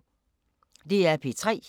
DR P3